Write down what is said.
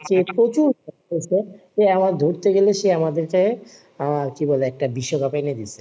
প্রচুর এ আমার ধরতে গেলে সে আমাদেরকে আহ কি বলে একটা বিশ্বকাপ এনে দিয়েছে